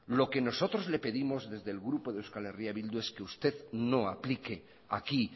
lo que nosotros le pedimos desde el grupo de euskal herria bildu es que usted no aplique aquí